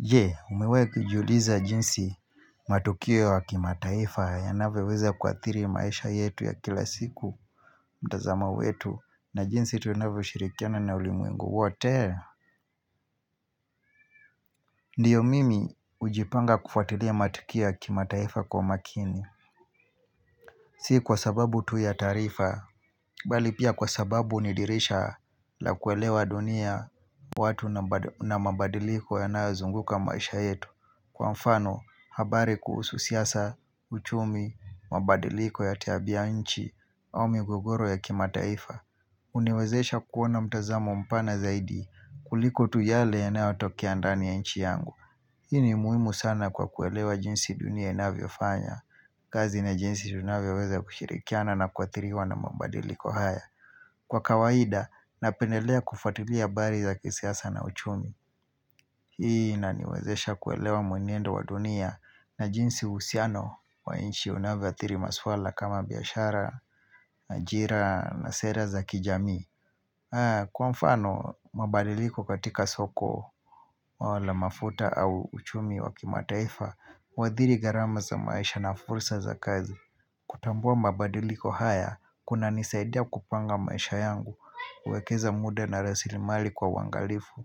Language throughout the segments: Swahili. Jee umewahi kujiuliza jinsi matukio ya kimataifa yanavyoweza kuathiri maisha yetu ya kila siku? Mtazama wetu na jinsi tunavyoshirikiana na ulimwengu wote? Ndiyo, mimi hujipanga kufuatilia matukio ya kimataifa kwa umakini sii kwa sababu tu ya taarifa, bali pia kwa sababu ni dirisha la kuelewa dunia watu na mabadiliko yanayozunguka maisha yetu. Kwa mfano habari kuhusu siasa, uchumi mabadiliko ya tabianchi au migogoro ya kimataifa huniwezesha kuwa na mtazamo mpana zaidi kuliko tu yale yanayotokea ndani ya nchi yangu Hini muhimu sana kwa kuelewa jinsi dunia ya inavyofanya kazi na jinsi tunavyoweza kushirikiana na kuathiriwa na mabadiliko haya. Kwa kawaida, napendelea kufatilia habari za kisiasa na uchumi Hii inaniwezesha kuelewa mwenendo wa dunia na jinsi uhusiano wa nchi unavyoathiri maswala kama biashara, ajira na sera za kijamii. Kwa mfano, mabadiliko katika soko la mafuta au uchumi wa kimataifa huadhiri gharama za maisha na fursa za kazi. Kutambua mbabadiliko haya, kunanisaidia kupanga maisha yangu, huwekeza muda na rasilimali kwa uangalifu,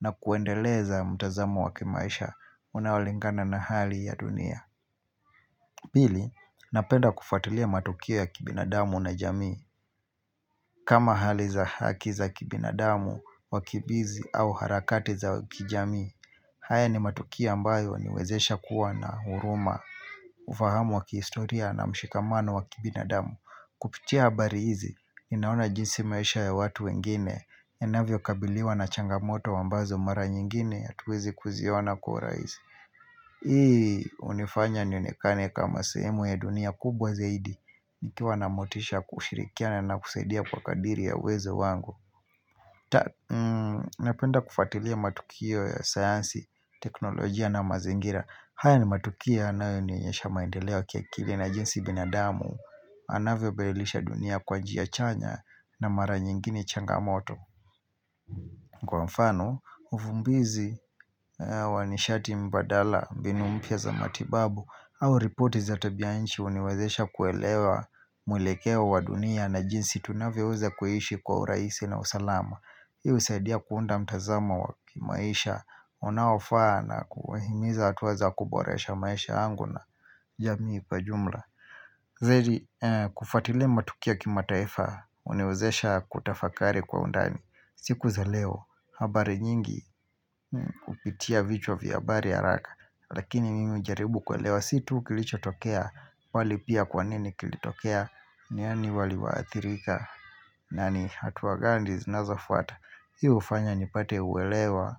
na kuendeleza mtazamo wa kimaisha, unaolingana na hali ya dunia. Pili, napenda kufuatulia matukio ya kibinadamu na jamii. Kama hali za haki za kibinadamu, wakimbizi au harakati za kijamii, haya ni matukio ambayo huniwezesha kuwa na huruma. Ufahamu wa kihistoria na mshikamano wa kibinadamu. Kupitia habari hizi ninaona jinsi maisha ya watu wengine yanavyokabiliwa na changamoto ambazo mara nyingine hatuwezi kuziona kwa urahisi. Hii hunifanya nionekane kama sehemu ya dunia kubwa zaidi nikiwa na motisha kushirikiana na kusaidia kwa kadiri ya uw.ezo wangu. Napenda kufuatilia matukio ya sayansi, teknolojia na mazingira. Haya ni matukio yanayonionyesha maendeleo ya kiakili na jinsi binadamu anavyobadilisha dunia kwa njia chanya na mara nyingine changamoto Kwa mfano, uvumbizi wa nishati mbadala mbinu mpya za matibabu, au ripoti za tabianchi huniwezesha kuelewa mwelekeo wa dunia na jinsi tunavyoweza kuishi kwa urahisi na usalama Hii husaidia kuunda mtazamo wa kimaisha unaofaa na kuhimiza hatua za kuboresha maisha yangu na jamii kwa jumla. Kufuatilia matukio ya kimataifa huniwezesha kutafakari kwa undani. Siku za leo, habari nyingi hupitia vichwa vya habari haraka. Lakini mimi hujaribu kuelewa si tu kilichotokea bali pia kwa nini kilitokea, nani waliwaathirika na ni hatua gani zinazofuata. Hi hufanya nipate uelewa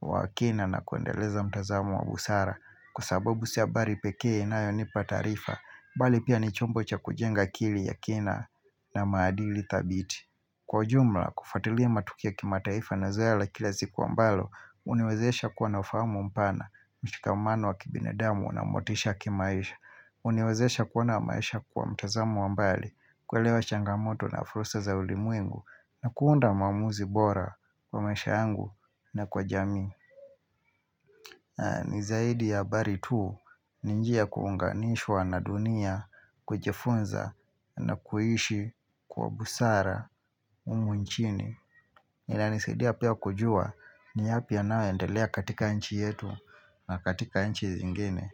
wa kina na kuendeleza mtazamo wa busara. Kwa sababu si habari pekee inayonipa taarifa, bali pia ni chombo cha kujenga akili ya kina na maadili thabiti. Kwa ujumla, kufuatiliya matukio ya kimataifa na zoea la kila siku ambalo huniwezesha kuwa na ufahamu mpana, mshikamano wa kibinadamu na motisha ya kimaisha huniwezesha kuona maisha kwa mtazamo wa mbali kuelewa changamoto na fursa za ulimwengu na kuunda maamuzi bora kwa maisha yangu na kwa jamii. Ni zaidi ya habari tuu ni njia ya kuunganishwa na dunia kujifunza na kuishi kwa busara humu nchini. Linanisaidia pia kujua ni yapi yanoendelea katika nchi yetu na katika nchi zingine.